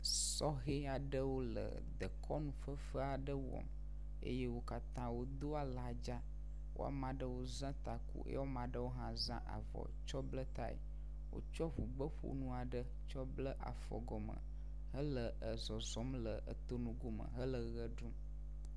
Sɔhɛ aɖewo le dekɔnu fefe aɖe wɔm eye wo katã wodo ladza, woame aɖewo zã taku ye wo ame aɖewo hã zã avɔ tsɔ bla tae. Wotsɔ ŋugbeƒonu aɖe tsɔ bla afɔ gɔme hele zɔzɔm le dome dome hele ʋe ɖum.